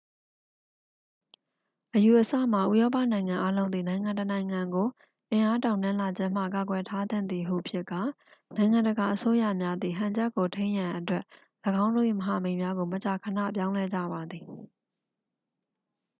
အယူအဆမှာ ဥရောပနိုင်ငံအားလုံးသည် နိုင်ငံတစ်နိုင်ငံကို အင်အားတောင့်တင်းလာခြင်းမှ ကာကွယ်ထားသင့်သည်ဟု ဖြစ်ကာ နိုင်ငံတကာအစိုးရများသည် ဟန်ချက်ကိုထိန်းရန်အတွက် ၎င်းတို့၏မဟာမိတ်များကို မကြာခဏပြောင်းလဲကြပါသည်